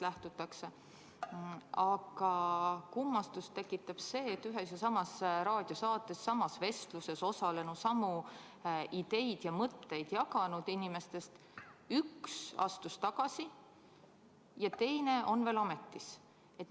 Aga kummastust tekitab see, et ühes ja samas raadiosaates samas vestluses osalenutest, samu ideid ja mõtteid jaganud inimestest üks astus tagasi ja teine on veel ametis.